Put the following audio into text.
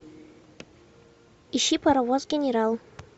ищи паровоз генерал